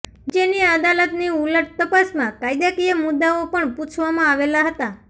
નીચેની અદાલત ની ઉલટ તપાસમાં કાયદાકીય મુદ્દાઓ પણ પૂછવામાં આવેલા હતા